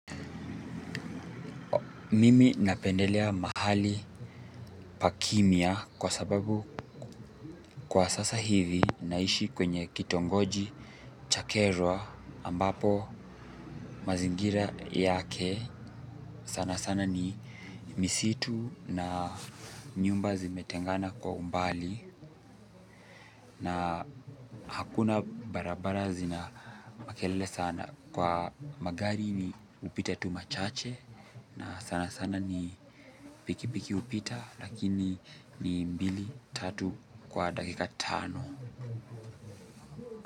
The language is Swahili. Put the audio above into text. Mimi napendelea mahali pakimya kwa sababu kwa sasa hivi ninaishi kwenye kitongoji cha kerwa ambapo mazingira yake. Sana sana ni misitu na nyumba zimetengana kwa umbali na hakuna barabara zinamakelele sana kwa magari ni hupita tu machache. Na sana sana ni pikipiki hupita lakini ni mbili, tatu kwa dakika tano.